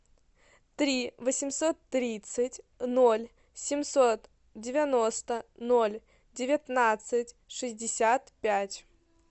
три восемьсот тридцать ноль семьсот девяносто ноль девятнадцать шестьдесят пять